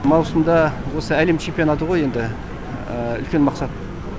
маусымда осы әлем чемпионаты ғой енді үлкен мақсат